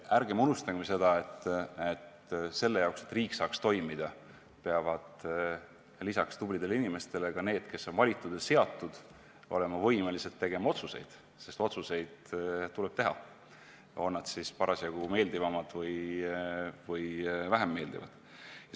Ärgem unustagem, et selle jaoks, et riik saaks toimida, peavad lisaks tublidele inimestele ka need, kes on valitud ja seatud, olema võimelised tegema otsuseid, sest otsuseid tuleb teha, on need siis parasjagu meeldivamad või vähem meeldivad.